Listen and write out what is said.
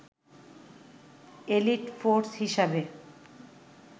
elite force হিসেবে